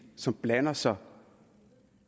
som blander sig